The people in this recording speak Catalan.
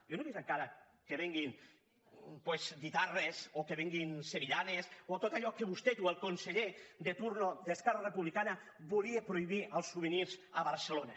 jo no he vist encara que venguin doncs guitarres o que venguin sevillanes o tot allò que vostè o el conseller de torn d’esquerra republicana volia prohibir els souvenirs a barcelona